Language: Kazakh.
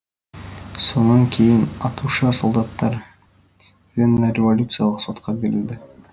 сонан кейін атушы солдаттар веннореволюциялық сотқа берілді